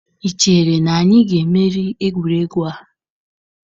Ị chere na anyị ga-emeri egwuregwu a?